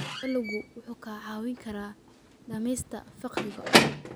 Dalaggu wuxuu kaa caawin karaa dhimista faqriga.